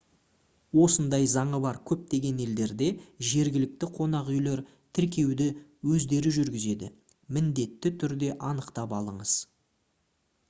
осындай заңы бар көптеген елдерде жергілікті қонақүйлер тіркеуді өздері жүргізеді міндетті түрде анықтап алыңыз